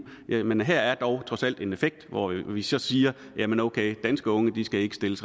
men her er dog trods alt en effekt hvor vi vi så siger jamen okay danske unge skal ikke stilles